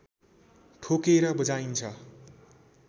ठोकेर बजाइन्छ